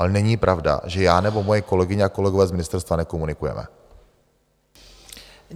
Ale není pravda, že já nebo moje kolegyně a kolegové z ministerstva nekomunikujeme.